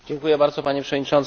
Panie Przewodniczący!